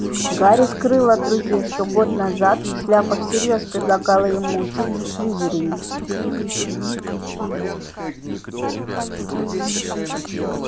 гарри скрыл от друзей что год назад шляпа всерьёз предлагала ему учиться в слизерине